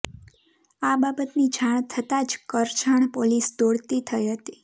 આ બાબતની જાણ થતા જ કરજણ પોલીસ દોડતી થઈ હતી